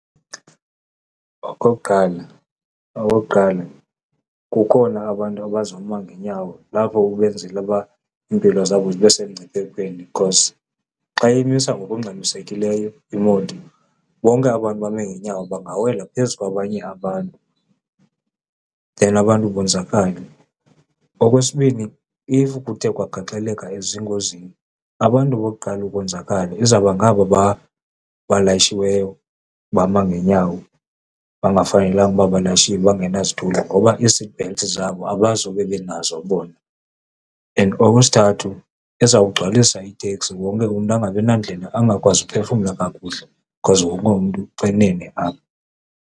Okokuqala kukhona abantu abazoma ngeenyawo lapho ukwenzela uba iimpilo zabo zibesemngciphekweni cause xa imisa ngokungxamisekileyo imoto bonke abantu bame ngeenyawo bangawela phezu kwabanye abantu then abantu bonzakale. Okwesibini, if kuthe kwagaxeleka ezingozini abantu bokuqala ukonzakala izawuba ngaba balayishiweyo bama ngeenyawo bangafanelanga uba bayilayishiwe bangenazitulo ngoba ii-seat belts zabo abazobe benazo bona and okwesithathu, izawugcwalisa iteksi wonke umntu ungabi nandlela angakwazi uphefumla kakuhle cause wonke umntu uxinene apho.